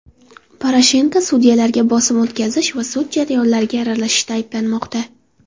Poroshenko sudyalarga bosim o‘tkazish va sud jarayonlariga aralashishda ayblanmoqda.